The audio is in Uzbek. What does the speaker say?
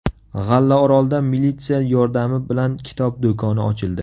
G‘allaorolda militsiya yordami bilan kitob do‘koni ochildi.